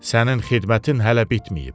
Sənin xidmətin hələ bitməyib.